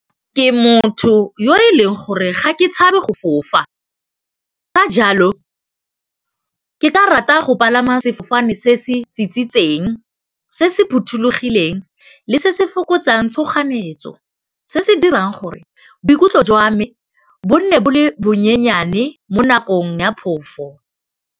Ke motho yo e leng gore ga ke tshabe go go fo ka jalo ke ka rata go palama sefofane se se tsitsitseng se se phothulogileng, le se se fokotsang tshoganyetso, se se dirang gore boikutlo jwa me bone bo le bonyenyane mo nakong ya phofu.